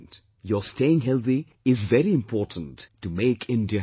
Your staying healthy is very important to make India healthy